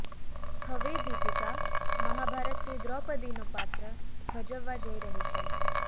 હવે દીપિકા મહાભારતની દ્રૌપદીનું પાત્ર ભજવવા જઈ રહી છે